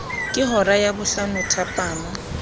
ke hora ya bohlano thapama